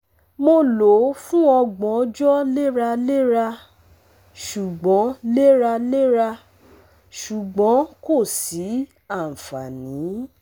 Mo lo o fun ọgbọn ọjọ leralera, ṣugbọn leralera, ṣugbọn ko si anfani